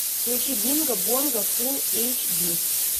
включи бинго бонго фул эйч ди